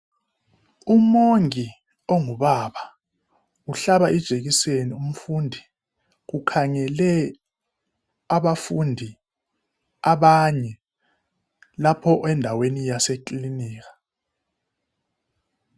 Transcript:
umongi ongubaba uhlaba ijekiseni umfundi kukhangele abafundi abane lapho endaweni yase kilinika